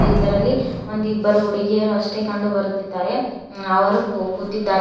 ಇದರಲ್ಲಿ ಒಂದಿಬ್ಬರು ಹುಡುಗಿಯರು ಅಷ್ಟೇ ಕಂಡು ಬರುತ್ತಿದ್ದಾರೆ ಅವರು ಕು ಕೂತಿದ್ದಾರೆ.